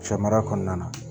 Sɛmara kɔnɔna na